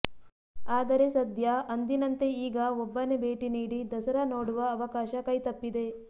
ಆದರೆ ಸದ್ಯ ಅಂದಿನಂತೆ ಈಗ ಒಬ್ಬನೇ ಭೇಟಿ ನೀಡಿ ದಸರಾ ನೋಡುವ ಅವಕಾಶ ಕೈತಪ್ಪಿದೆ